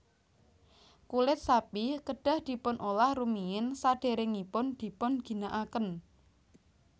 Kulit sapi kedah dipun olah rumiyin sadèrèngipun dipun ginakaken